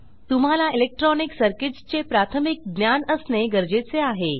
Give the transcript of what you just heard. तुम्हाला electronic circuits चे प्राथमिक ज्ञान असणे गरजेचे आहे